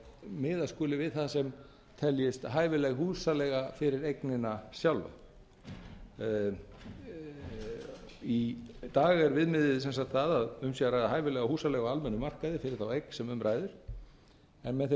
miðað skuli við það sem teljist hæfileg húsaleiga fyrir eignina sjálfa í dag er viðmiðið sem sagt það að um sé að ræða hæfilega húsaleigu á almennum markaði fyrir þá eign sem um ræðir en með þeirri